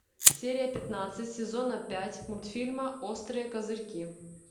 серия пятнадцать сезона пять мультфильма острые козырьки